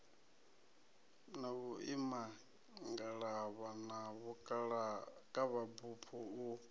na vhuimangalavha na vhukavhabufho u